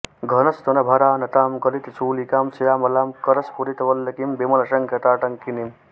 घनस्तनभरानतां गलित चूलिकां श्यामलां करस्फुरित वल्लकीं विमलशङ्ख ताटङ्किनीम्